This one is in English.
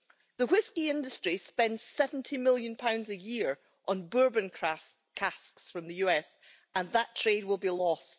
The whisky industry spends GBP 70 million a year on bourbon casks from the US, and that trade will be lost.